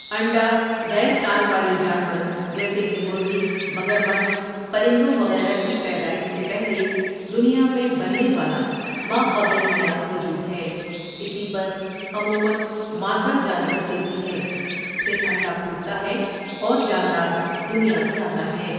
انڈا غیر کان والے جانور، جیسے کہ مرغی، مگرمچھ، پرندوں وغیرہ کی پیدائش سے پہلے دنیا میں بننے والا ماقبل حیات وجود ہے اسی پر عمومًا مادہ جانور سیتی ہے پھر انڈا پھوٹتا ہے اور جاندار دنیا میں آتا ہے۔